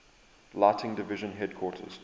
lighting division headquarters